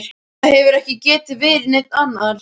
Það hefur ekki getað verið neinn annar.